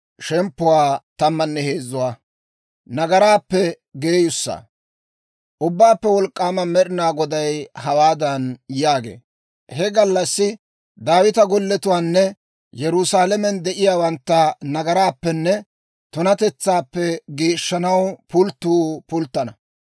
Ubbaappe Wolk'k'aama Med'inaa Goday hawaadan yaagee; «He gallassi Daawita golletuwaanne Yerusaalamen de'iyaawantta nagaraappenne tunatetsaappe geeshshanaw pulttuu pulttana.